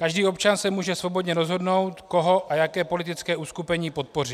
Každý občan se může svobodně rozhodnout, koho a jaké politické uskupení podpoří.